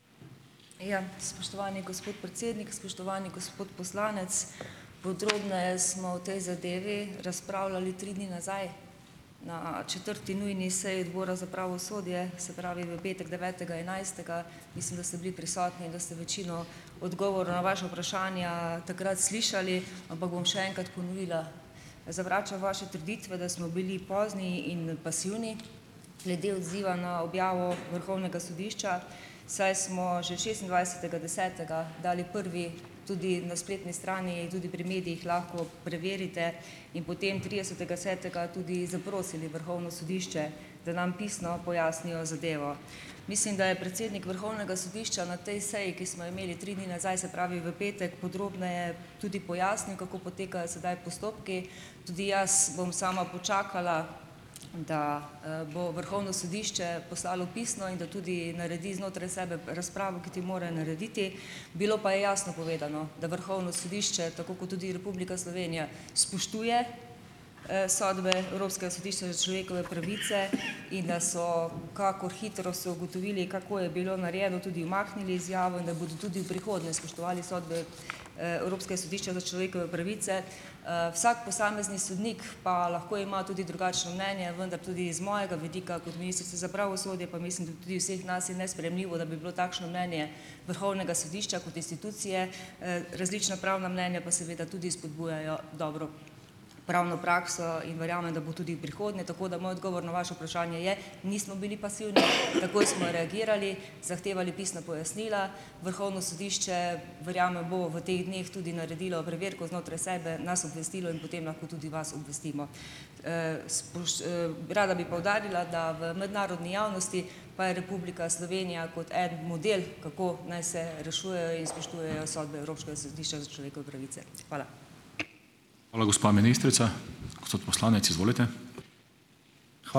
Ja, spoštovani gospod predsednik, spoštovani gospod poslanec. Podrobneje smo o tej zadevi razpravljali tri dni nazaj na četrti nujni seji Odbora za pravosodje, se pravi, v petek devetega enajstega. Mislim, da ste bili prisotni in da ste večino odgovorov na vaša vprašanja takrat slišali, ampak bom še enkrat ponovila. Zavračam vaše trditve, da smo bili pozni in pasivni glede odziva na objavo Vrhovnega sodišča, saj smo že šestindvajsetega desetega dali prvi, tudi na spletni strani in tudi pri medijih lahko preverite in potem tridesetega desetega tudi zaprosili Vrhovno sodišče, da nam pisno pojasnijo zadevo. Mislim, da je predsednik Vrhovnega sodišča na tej seji, ki smo jo imeli tri dni nazaj, se pravi v petek, podrobneje tudi pojasnil, kako potekajo sedaj postopki. Tudi jaz bom sama počakala, da bo Vrhovno sodišče poslalo pisno in da tudi naredi znotraj sebe razpravo, kot jo mora narediti. Bilo pa je jasno povedano, da Vrhovno sodišče, tako kot tudi Republika Slovenija, spoštuje sodbe Evropskega sodišča za človekove pravice in da so, kakor hitro so ugotovili, kako je bilo narejeno, tudi umaknili izjavo in da bodo tudi v prihodnje spoštovali sodbe Evropskega sodišča za človekove pravice. Vsak posamezni sodnik pa lahko ima tudi drugačno mnenje, vendar tudi iz mojega vidika kot ministrice za pravosodje pa mislim, da tudi vseh nas, je nesprejemljivo, da bi bilo takšno mnenje Vrhovnega sodišča kot institucije različna pravna mnenja pa seveda tudi spodbujajo dobro pravno prakso in verjamem, da bo tudi v prihodnje. Tako da moj odgovor na vaše vprašanje je, nismo bili pasivni, takoj smo reagirali, zahtevali pisna pojasnila. Vrhovno sodišče, verjamem, bo v teh dneh tudi naredilo preverko znotraj sebe, nas obvestilo in potem lahko tudi vas obvestimo. Rada bi poudarila, da v mednarodni javnosti pa je Republika Slovenija kot eden model, kako naj se rešujejo in spoštujejo sodbe Evropskega sodišča za človekove pravice. Hvala.